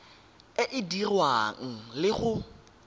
e e dirwang le go